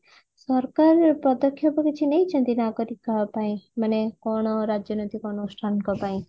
ସରକାର ପଦକ୍ଷେପ କିଛି ନେଇଛନ୍ତି ନାଗରିକ ଙ୍କ ମାନେ କଣ ରାଜନୈତିକ ଅନୁଷ୍ଠାନ ଙ୍କ ପାଇଁ